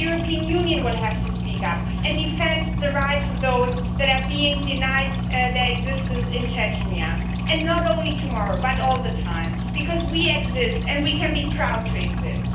The European Union will have to speak up and defend the rights of those that are being denied their existence in Chechnya, and not only tomorrow but all the time, because we exist and we can be proud to exist.